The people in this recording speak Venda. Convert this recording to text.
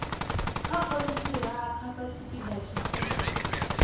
nga khonthiraka satshipida tsha u